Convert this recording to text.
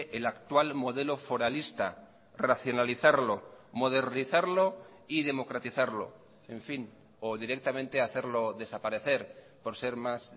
el actual modelo foralista racionalizarlo modernizarlo y democratizarlo en fin o directamente hacerlo desaparecer por ser más